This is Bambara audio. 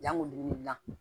Jango ni la